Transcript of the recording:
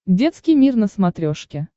детский мир на смотрешке